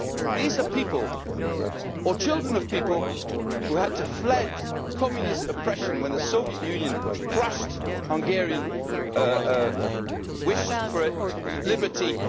These are people or children of people who had to flee Communist oppression when the Soviet Union crushed Hungary's wish for liberty in